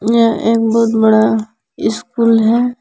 यह एक बहुत बड़ा स्कूल है।